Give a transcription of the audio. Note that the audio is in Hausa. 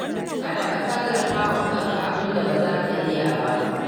Kada ka ƙallafawa kanka abinda ba za ka iya ba.